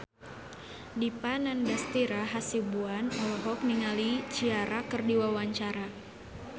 Dipa Nandastyra Hasibuan olohok ningali Ciara keur diwawancara